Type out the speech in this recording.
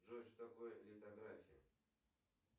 джой что такое литография